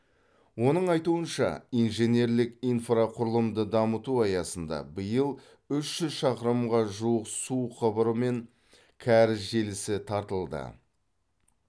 оның айтуынша инженерлік инфрақұрылымды дамыту аясында биыл үш жүз шақырымға жуық су құбыры мен кәріз желісі тартылды